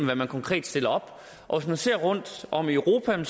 hvad man konkret stiller op og hvis man ser rundtom i europa kan